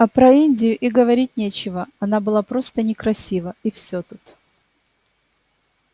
а про индию и говорить нечего она была просто некрасива и всё тут